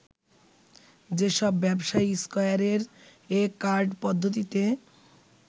যেসব ব্যবসায়ী স্কয়ারের এ কার্ড পদ্ধতিতে